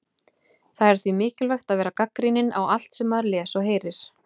Það er því mikilvægt að vera gagnrýninn á allt sem maður les og heyrir.